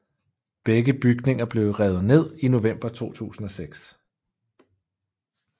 Begge bygninger blev revet ned i november 2006